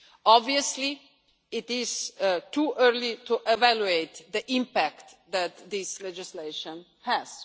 fraud. Obviously, it is too early to evaluate the impact that this legislation